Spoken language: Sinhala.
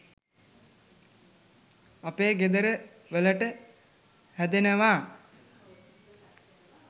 අපේ ගෙදර වලට හැදෙනව